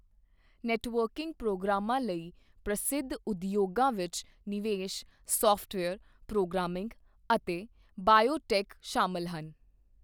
Networking ਪ੍ਰੋਗਰਾਮਾਂ ਲਈ ਪ੍ਰਸਿੱਧ ਉਦਯੋਗਾਂ ਵਿੱਚ ਨਿਵੇਸ਼, ਸਾੱਫਟਵੇਅਰ, ਪ੍ਰੋਗਰਾਮਿੰਗ ਅਤੇ ਬਾਇਓਟੈੱਕ ਸ਼ਾਮਲ ਹਨ।